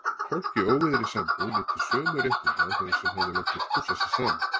Fólk í óvígðri sambúð nyti sömu réttinda og þeir sem hefðu látið pússa sig saman.